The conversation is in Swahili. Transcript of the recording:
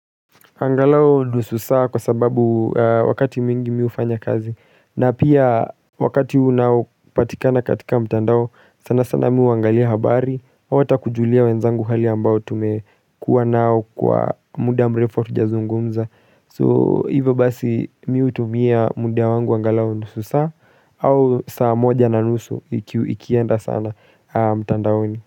Angalao nusu saa kwa sababu wakati mwingi mi ufanya kazi na pia wakati unaopatikana katika mtandao sanasana mi uangalia habari au ata kujulia wenzangu hali ambao tumekuwa nao kwa muda mrefu hatujazungumza So hivyo basi mi utumia muda wangu angalao nusu saa au saa moja na nusu ikienda sana mtandaoni.